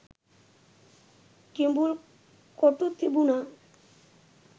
කිඹුල් කොටු තිබුණා.